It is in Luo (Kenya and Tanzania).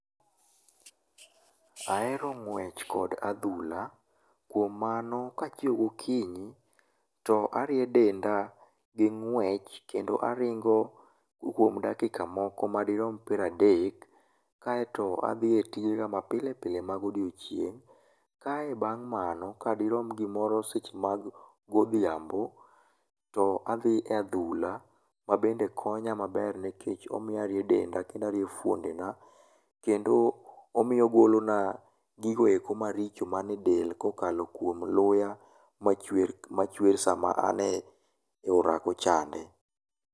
Ahero ng'wech kod adhula kuom mano kachiew gokinyi to arie denda gi ng'wech kendo aringo kuom dakika moko madirom piero adek kaeto adhi e tijega mapile pile mag odiechieng'. Kae bang' mano kadirom seche moko mag odhiambo, to adhi e adhula ma bende konya maber nikech omiyo arie denda kendo arie fuondena kendo omiyo ogolona gigo eko maricho man edel kokalo kuom luya machwer sama an s orako chande.